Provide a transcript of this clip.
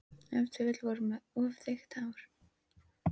Ef til vill voru þeir með of þykkt hár.